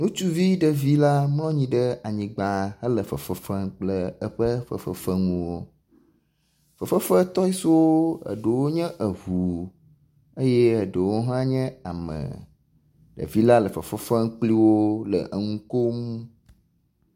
Ŋutsuvi ɖevi l mlɔ anyi ɖe anyigba hele fefem kple eƒe fefefenuwo. Fefefe tɔisiwo eɖewo nye eŋu eye eɖewo hã nye ame. Ɖevi la le fefefem kpliwo le enu kom.